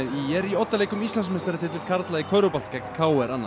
í oddaleik um Íslandsmeistaratitil karla í körfubolta gegn k r annað